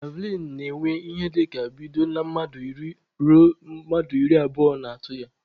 Javlịn na-enwe ịhe dịka bido na mmadụ iri ruo mmadụ iri abụo na-atụ ya